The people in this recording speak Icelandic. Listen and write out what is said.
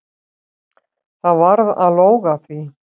Það varð að lóga því.